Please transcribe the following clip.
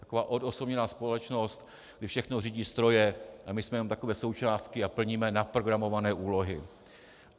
Taková odosobněná společnost, kde všechno řídí stroje a my jsme jenom takové součástky a plníme naprogramované úlohy.